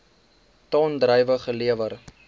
ton druiwe gelewer